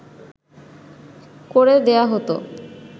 করে দেয়া হতো